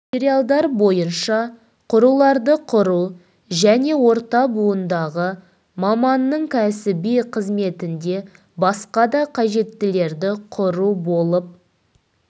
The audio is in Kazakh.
материалдары бойынша құруларды құру және орта буындағы маманның кәсіби қызметінде басқа да қажеттілерді құру болып